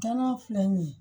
Dana filɛ nin ye